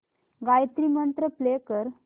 Gayatri mantra play कर